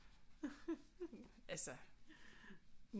Altså